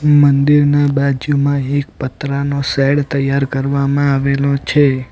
મંદિરના બાજુમાં એક પતરાનો શૅડ તૈયાર કરવામાં આવેલો છે.